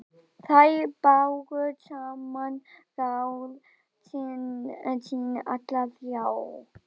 Þær báru saman ráð sín allar þrjár.